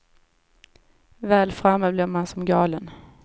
Väl framme blir man som galen.